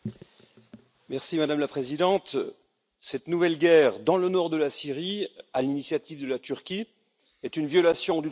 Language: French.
Madame la Présidente, cette nouvelle guerre dans le nord de la Syrie, à l'initiative de la Turquie, est une violation du droit international.